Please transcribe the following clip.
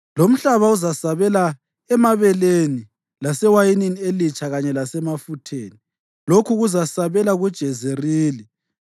lomhlaba uzasabela emabeleni lasewayinini elitsha kanye lasemafutheni, lokhu kuzasabela kuJezerili.